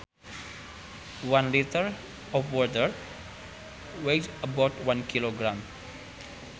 One litre of water weighs about one kilogram